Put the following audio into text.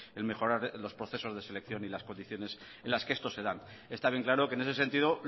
en mejorar los procesos de selección y las condiciones en las que estos se dan está bien claro que en ese sentido